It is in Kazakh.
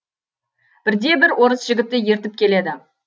бірде бір орыс жігітті ертіп келеді